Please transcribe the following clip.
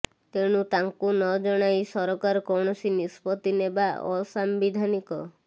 ତେଣୁ ତାଙ୍କୁ ନ ଜଣାଇ ସରକାର କୌଣସି ନିଷ୍ପତ୍ତି ନେବା ଅସାମ୍ବିଧାନିକ